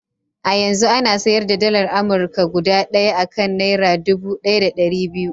A yanzu ana sayar da dalar Amurka guda ɗaya a kan naira dubu ɗaya da ɗari biyu.